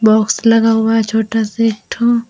Box लगा हुआ है छोटा सा एक ठौ।